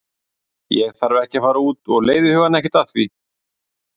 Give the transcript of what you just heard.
Ég þarf ekkert að fara út og leiði hugann ekkert að því.